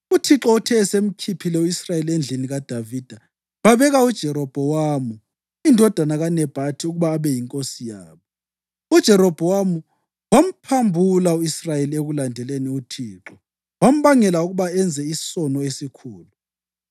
UThixo uthe esemkhiphile u-Israyeli endlini kaDavida, babeka uJerobhowamu indodana kaNebhathi ukuba abe yinkosi yabo. UJerobhowamu wamphambula u-Israyeli ekulandeleni uThixo wambangela ukuba enze isono esikhulu.